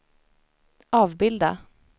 avbilda